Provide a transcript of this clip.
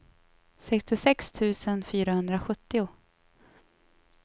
sextiosex tusen fyrahundrasjuttio